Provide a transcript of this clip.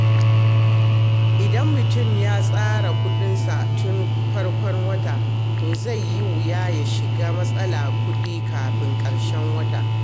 Idan mutum ya tsara kuɗinsa tun farkon wata, to zai yi wuya ya shiga matsalar kuɗi a ƙarshen wata.